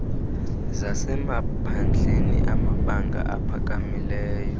zasemaphandleni amabanga aphakamileyo